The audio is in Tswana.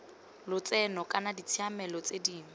lotseno kana ditshiamelo tse dingwe